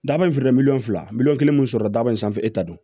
Daba in filɛ miliyɔn fila miliyɔn kelen min sɔrɔ daba in sanfɛ e ta don